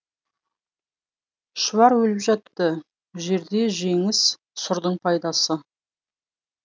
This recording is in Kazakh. шұбар өліп жатты жерде жеңіс сұрдың пайдасы